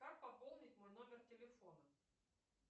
как пополнить мой номер телефона